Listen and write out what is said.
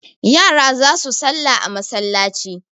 yara za su sallah masallaci